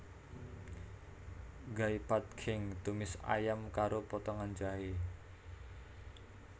Gai Pad Khing tumis ayam karo potongan jahé